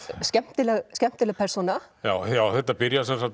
skemmtileg skemmtileg persóna þetta byrjar